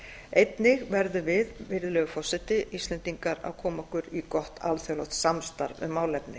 einnig verðum við virðulegi forseti íslendingar að koma okkur í gott alþjóðlegt samstarf um málefnið